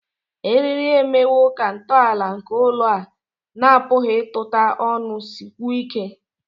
eriri eriri emewo ka ntọala nke ụlọ a na-apụghị ịgụta ọnụ sikwuo ike